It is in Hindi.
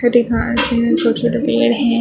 हरी घास है छोटी-छोटी पेड़ है।